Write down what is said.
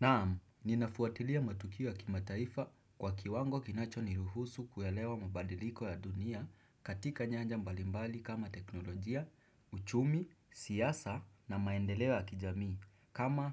Naamu, ninafuatilia matukio ya kimataifa kwa kiwango kinachoniruhusu kuelewa mabadiliko ya dunia katika nyanja mbalimbali kama teknolojia, uchumi, siasa na maendeleo ya kijamii. Kama